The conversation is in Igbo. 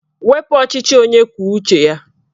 Wepu ọchịchị onye kwuo uche ya!